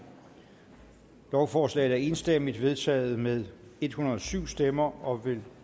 lovforslaget er enstemmigt vedtaget med en hundrede og syv stemmer og vil